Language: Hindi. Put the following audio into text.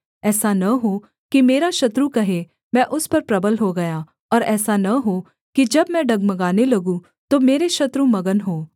ऐसा न हो कि मेरा शत्रु कहे मैं उस पर प्रबल हो गया और ऐसा न हो कि जब मैं डगमगाने लगूँ तो मेरे शत्रु मगन हों